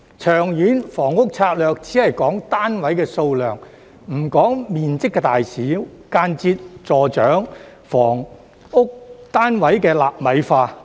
《長遠房屋策略》只講單位數量，不講面積大小，間接助長房屋單位"納米化"。